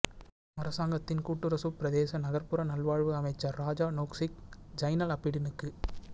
அரசாங்கத்தின் கூட்டரசுப் பிரதேச நகர்ப்புற நல்வாழ்வு அமைச்சர் ராஜா நோங்சிக் ஜைனல் அபிடினுக்கு